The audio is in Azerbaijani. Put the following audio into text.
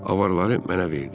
Avarları mənə verdi.